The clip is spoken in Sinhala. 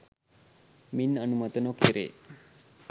මින් අනුමත නොකෙරේ